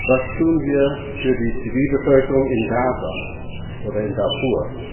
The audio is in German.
Was tun wir für die Zivilbevölkerung in Gaza oder in Darfur?